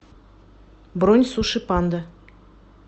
бронь суши панда